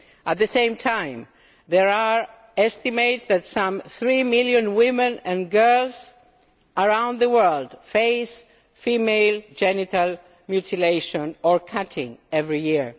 At the same time, there are estimates that some three million women and girls around the world face female genital mutilation or cutting every